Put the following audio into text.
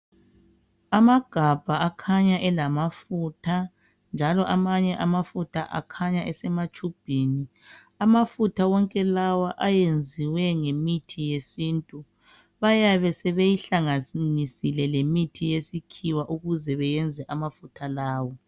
Amagabha akhanya lamafutha, njalo amanye amafutha akhanya esematshubhini. Amafutha wonke lawa ayenziwe ngamafutha esintu. Bayebe sebeyihlanganisile lelemithi yesikhiwa ukuze beyenze amafutha lawa.